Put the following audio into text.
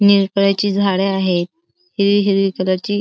निरकळ्याची झाडं आहेत हिरवी हिरवी कलर ची --